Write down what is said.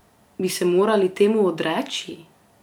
Bi se morali temu odreči?